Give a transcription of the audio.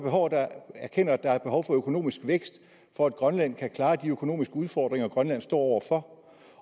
erkender at der er behov for økonomisk vækst for at grønland kan klare de økonomiske udfordringer grønland står over for